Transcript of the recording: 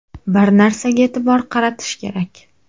Bir narsaga e’tibor qaratish kerak.